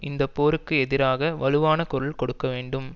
இந்தப்போருக்கு எதிராக வலுவான குரல் கொடுக்க வேண்டும்